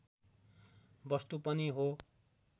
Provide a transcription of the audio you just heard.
वस्तु पनि हो